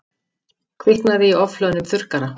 Kviknaði í ofhlöðnum þurrkara